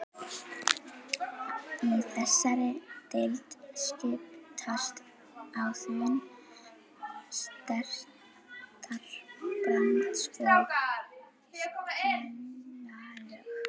Í þessari deild skiptast á þunn surtarbrands- og skeljalög.